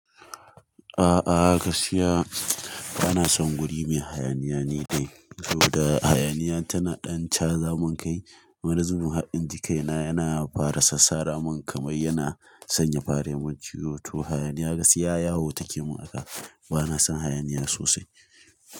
A'a gaskiya bana son guri me hayaniya ne dai, saboda hayaniya tana ɗan caza mun kai. Wani zubin har in ji kaina yana fara sassara mun kamar yana sanya fare mai ciwo. To hayaniya gaskiya yawo take mun haka bana son hayaniya sosai.